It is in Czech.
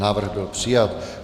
Návrh byl přijat.